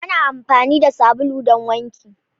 Ana amfani da sabulu don wanki.